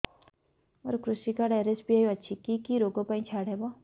ମୋର କୃଷି card RSBY ଅଛି କି କି ଋଗ ପାଇଁ ଛାଡ଼ ହବ